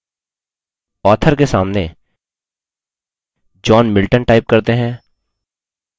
author के सामने john milton type करते हैं